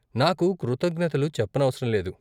నాకు కృతజ్ఞతలు చెప్పనవసరం లేదు.